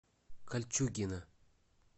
кольчугино